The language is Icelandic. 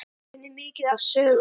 Afi kunni mikið af sögum.